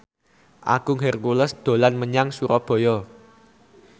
Agung Hercules dolan menyang Surabaya